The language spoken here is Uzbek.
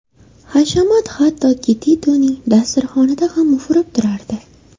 Hashamat hattoki Titoning dasturxonida ham ufurib turardi.